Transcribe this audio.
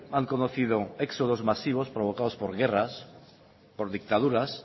han conocido éxodos masivos provocados por guerras por dictaduras